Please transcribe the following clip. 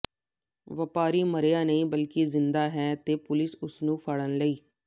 ਵਪਾਰੀ ਮਰਿਆ ਨਹੀਂ ਬਲਕਿ ਜਿੰਦਾ ਹੈ ਤੇ ਪੁਲਿਸ ਉਸ ਨੂੰ ਫੜਣ ਲਈ